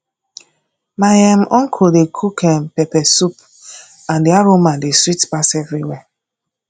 my um uncle dey cook um pepper soup and the aroma dey sweet pass everywhere